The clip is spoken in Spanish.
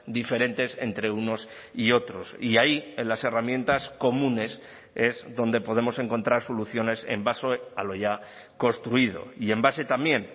diferentes entre unos y otros y ahí en las herramientas comunes es donde podemos encontrar soluciones en base a lo ya construido y en base también